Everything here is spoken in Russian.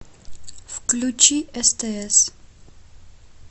включи стс